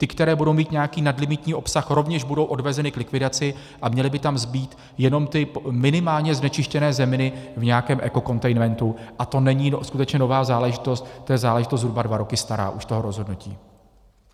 Ty, které budou mít nějaký nadlimitní obsah, rovněž budou odvezeny k likvidaci a měly by tam zbýt jenom ty minimálně znečištěné zeminy v nějakém ekokontejnmentu, a to není skutečně nová záležitost, to je záležitost zhruba dva roky stará, už toho rozhodnutí.